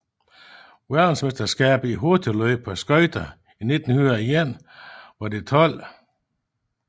Verdensmesterskabet i hurtigløb på skøjter 1901 var det 12